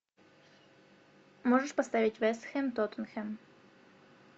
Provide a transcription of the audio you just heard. можешь поставить вест хэм тоттенхэм